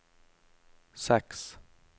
seks